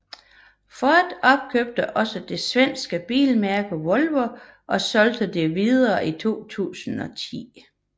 Ford opkøbte også det svenske bilmærke Volvo og solgte det videre i 2010